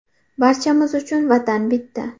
Barchamiz uchun Vatan bitta!